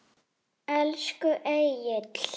Elsku Egill.